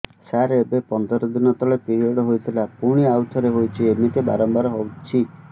ସାର ଏବେ ପନ୍ଦର ଦିନ ତଳେ ପିରିଅଡ଼ ହୋଇଥିଲା ପୁଣି ଆଉଥରେ ହୋଇଛି ଏମିତି ବାରମ୍ବାର ହଉଛି